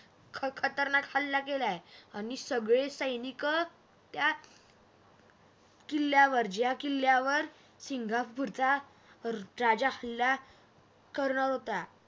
ख खतरनाक हल्ला केलाय आणि सगळे सैनिक त्या किल्ल्यावर ज्या किल्ल्यावरसिंगापूरच्या रा राजा हल्ला करणारं होतं.